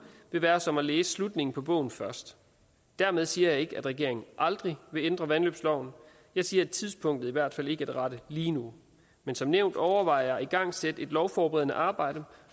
vil være som at læse slutningen af bogen først dermed siger jeg ikke at regeringen aldrig vil ændre vandløbsloven jeg siger at tidspunktet i hvert fald ikke er det rette lige nu men som nævnt overvejer jeg at igangsætte et lovforberedende arbejde